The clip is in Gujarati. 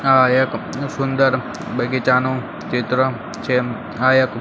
આ એક સુંદર બગીચાનું ચિત્ર છે આ એક--